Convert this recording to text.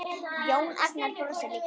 Jón Agnar brosir líka.